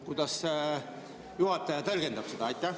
Kuidas juhataja seda tõlgendab?